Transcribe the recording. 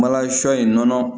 Malansɔ in nɔnɔ